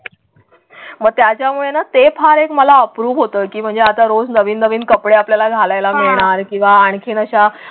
मग त्याच्यामुळेना ते फार एक मला अप्रूप होतं की म्हणजे आता रोज नवीन नवीन कपडे आपल्याला घालायला मिळणार किंवा आणखीन अशा.